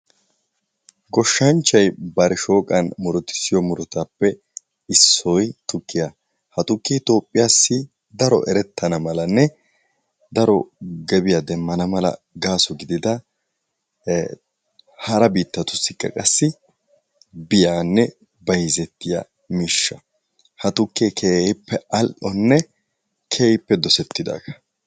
Goshshanchchay bari shooqan muruttisiyo murutaappe issoy tukkiya. Ha tukkee Toophiyaassi daro erettana malanne daro gebiya demmana mala gaaso gidida hara biittatussikka qassi biyanne bayizettiya miishsha. ha tukee keehippe al"onne keehippe dosettidaagaa.